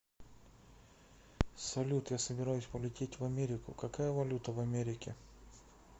салют я собираюсь полететь в америку какая валюта в америке